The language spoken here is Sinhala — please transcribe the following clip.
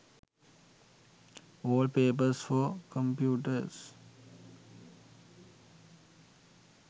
wallpapers for computers